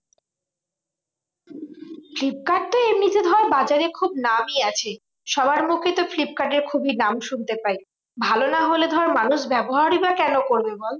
Flipkart তো এমনিতে ধর বাজারে খুব নামই আছে। সবার মুখে তো ফ্লিপকার্ডের খুবই নাম শুনতে পাই। ভালো না হলে ধর মানুষ ব্যবহারই বা কেন করবে বল?